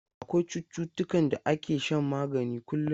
Akwai cututtukan da ake shan magani kullum.